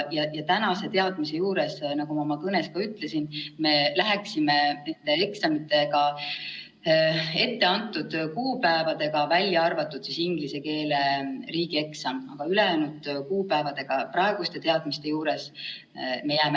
Tänaste teadmiste juures, nagu ma oma kõnes ütlesin, me teeksime eksamid etteantud kuupäevadel, välja arvatud inglise keele riigieksam, ülejäänud kuupäevad jäävad praeguste teadmiste juures samaks.